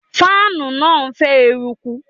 Fáànù náà ń fẹ́ eruku.